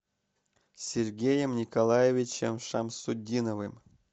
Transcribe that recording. сергеем николаевичем шамсутдиновым